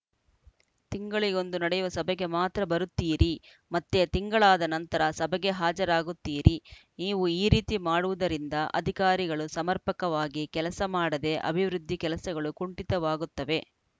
ತಿಂಗಳಿಗೊಂದು ನಡೆಯುವ ಸಭೆಗೆ ಮಾತ್ರ ಬರುತ್ತೀರಿ ಮತ್ತೆ ತಿಂಗಳಾದ ನಂತರ ಸಭೆಗೆ ಹಾಜರಾಗುತ್ತಿರಿ ನೀವು ಈ ರೀತಿ ಮಾಡುವುದರಿಂದ ಅಧಿಕಾರಿಗಳು ಸಮರ್ಪಕವಾಗಿ ಕೆಲಸ ಮಾಡದೇ ಅಭಿವೃದ್ಧಿ ಕೆಲಸಗಳು ಕುಂಠಿತವಾಗುತ್ತವೆ